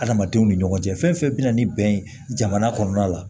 Adamadenw ni ɲɔgɔn cɛ fɛn fɛn bɛna ni bɛn ye jamana kɔnɔna la